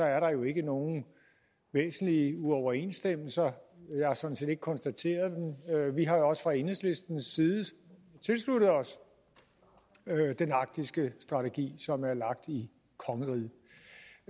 er der jo ikke nogen væsentlige uoverensstemmelser jeg har sådan set ikke konstateret dem vi har også fra enhedslistens side tilsluttet os den arktiske strategi som er lagt i kongeriget